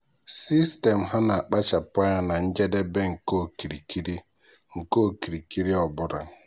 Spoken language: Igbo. sistemu ha na-akpachapụ anya na njedebe nke okirikiri nke okirikiri ọ bụla.